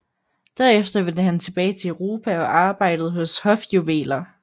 Derefter vendte han tilbage til Europa og arbejdede hos hofjuveler A